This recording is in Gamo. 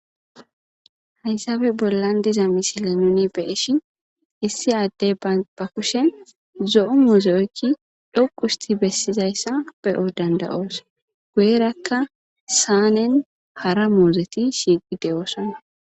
Haysabe bollan diza misile nuni beeshin issi addey ba kushe zo'o muuseyoykki dhoqusti bessizayssa beyo dandayoos guyerakka saanen hara moozeti shiiqi deyoossana.